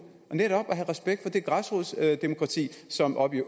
og netop have respekt for det græsrodsdemokrati som oppe i